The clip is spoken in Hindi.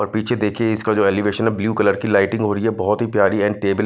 और पीछे देखिए इसका जो एलिवेशन है ब्लू कलर की लाइटिंग हो रही है बहुत ही प्यारी एंड टेबल --